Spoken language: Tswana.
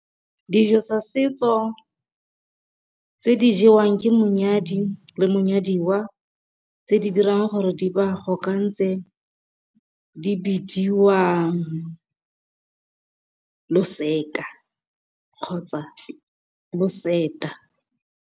Dijo tsa setso tse di jewang ke monyadi le monyadiwa, tse di dirang gore di ba kopantshe, di bidiwa loseka kgotsa loseta.